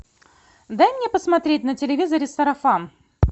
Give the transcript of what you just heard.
дай мне посмотреть на телевизоре сарафан